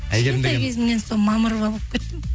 кішкентай кезімнен сол мамырова болып кеттім